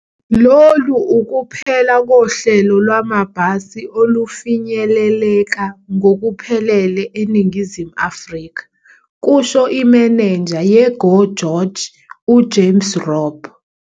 "Lolu ukuphela kohlelo lwamabhasi olufinyeleleka ngokuphelele eNingizimu Afrika," kusho imenenja ye-GO GEORGE uJames Robb.